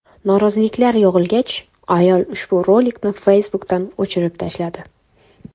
Noroziliklar yog‘ilgach, ayol ushbu rolikni Facebook’dan o‘chirib tashladi.